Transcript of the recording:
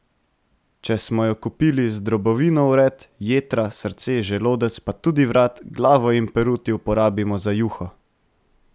Če smo jo kupili z drobovino vred, jetra, srce, želodec pa tudi vrat, glavo in peruti uporabimo za juho.